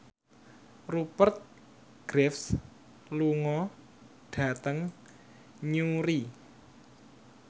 Rupert Graves lunga dhateng Newry